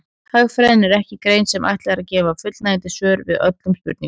Hagfræðin er ekki grein sem ætlað er að gefa fullnægjandi svör við öllum spurningum.